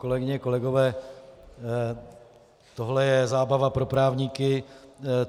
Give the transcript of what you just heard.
Kolegyně, kolegové, tohle je zábava pro právníky.